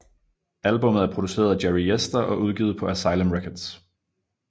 Albummet er produceret af Jerry Yester og udgivet på Asylum Records